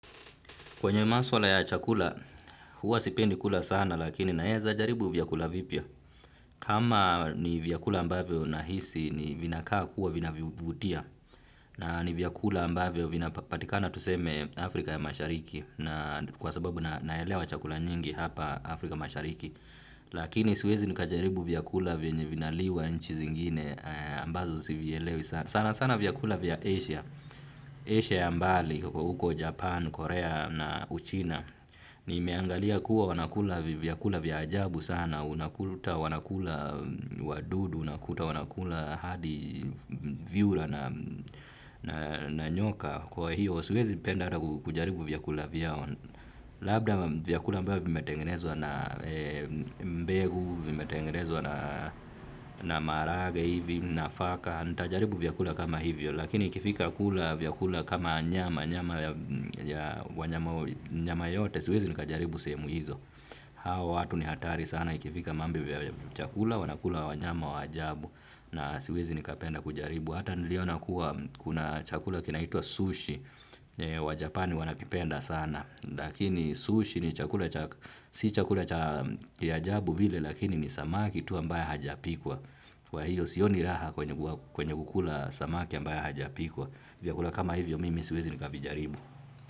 Kwenye maswala ya chakula, huwa sipendi kula sana lakini naeza jaribu vyakula vipya. Kama ni vyakula ambavyo nahisi ni vinaka kuwa vina vivutia. Na ni vyakula ambavyo vinapatikana tuseme Afrika ya mashariki. Kwa sababu naelewa chakula nyingi hapa Afrika mashariki. Lakini siwezi nikajaribu vyakula vyenye vinaliwa nchi zingine ambazo sivyelewi sana. Sana vyakula vya Asia. Ashia ya mbali kwa huko Japan, Korea na uchina, nimeangalia kuwa wanakula vyakula vya ajabu sana, unakuta wanakula wadudu, unakuta wanakula hadi viura na nyoka. Kwa hiyo, siwezi penda ata kujaribu vyakula vyao. Labda vyakula ambayo vimetengenezwa na mbengu, vimetengenezwa na maharage hivi, nafaka. Nitajaribu vyakula kama hivyo. Lakini ikifika kula vyakula kama nyama, nyama yoyote, siwezi nikajaribu sehemu hizo. Hawa watu ni hatari sana ikifika mambo ya chakula, wanakula wanyama wa ajabu. Na siwezi nikapenda kujaribu. Hata niliona kuwa kuna chakula kinaitwa sushi wa Japani wanakipenda sana. Lakini sushi ni chakula si chakula kiajabu vile lakini ni samaki tu ambaye hajapikwa. Kwa hiyo sioni raha kwenye kukula samaki ambaya hajapikwa. Vyakula kama hivyo mimi siwezi nikavijaribu.